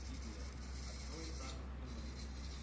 привет открой сагу сумерки